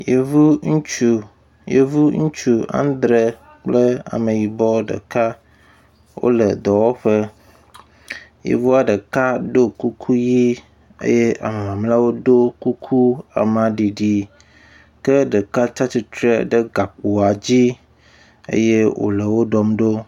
Yevu ŋutsu yevu ŋutsu andre kple ameyibɔ ɖeka wo le dɔwɔƒe. Yevua ɖeka do kuku ʋi eye ame mamleawo do kuku amaɖiɖi ke ɖeka tsi atsitre ɖe gakpoa dzi eye wo le wo ɖɔm ɖo.